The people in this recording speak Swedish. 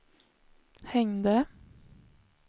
hängde